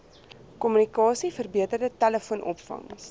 kommunikasie verbeterde telefoonopvangs